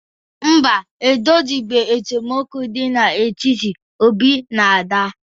Mba, e dozibeghi esemokwu dị n'etiti Obi na Ada.